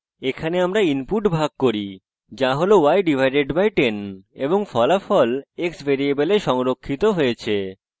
এখানে আমরা inputs ভাগ করি যা হল y/10 এবং ফলাফল x ভ্যারিয়েবলে সংরক্ষিত হয়েছে